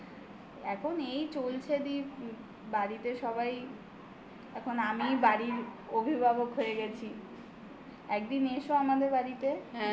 এখন এই চলছে দি বাড়িতে সবাই এখন আমি বাড়ির অভিভাবক হয়ে গেছি. একদিন এসো আমাদের বাড়িতে.